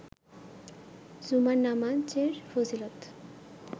জুমার নামাজের ফজিলত